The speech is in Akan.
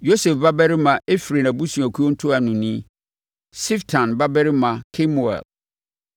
Yosef babarima Efraim abusuakuo ntuanoni, Siftan babarima Kemuel;